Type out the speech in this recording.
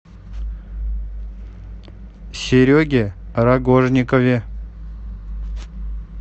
сереге рогожникове